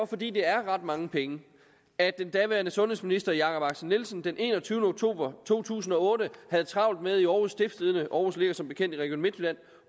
fordi det er ret mange penge at den daværende sundhedsminister jakob axel nielsen den enogtyvende oktober to tusind og otte havde travlt med i århus stiftstidende aarhus ligger som bekendt i region midtjylland